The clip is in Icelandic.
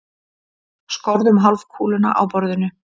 Skorðum hálfkúluna á borðinu.